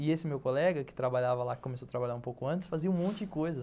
E esse meu colega, que trabalhava lá, que começou a trabalhar um pouco antes, fazia um monte de coisa.